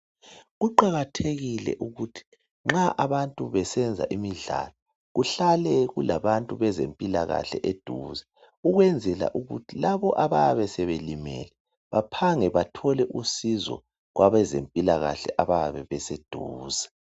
Kuqakathekile ukuthi nxa abantu besenza imidlalo kuhlale kulabantu bezempilakahle eduze ukwenzela ukuthi labo abayabe sebelimele baphange bathole usizo kwabezempilakahle abayabe beseduze.